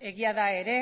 egia da ere